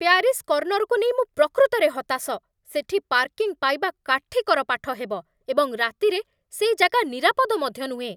Paris କର୍ଣ୍ଣରକୁ ନେଇ ମୁଁ ପ୍ରକୃତରେ ହତାଶ। ସେଠି ପାର୍କିଂ ପାଇବା କାଠିକର ପାଠ ହେବ, ଏବଂ ରାତିରେ ସେଇ ଜାଗା ନିରାପଦ ମଧ୍ୟ ନୁହେଁ।